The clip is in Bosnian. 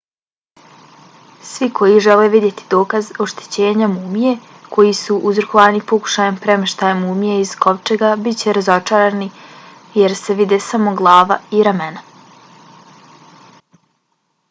svi koji žele vidjeti dokaz oštećenja mumije koji su uzrokovani pokušajem premještanja mumije iz kovčega bit će razočarani jer se vide samo glava i ramena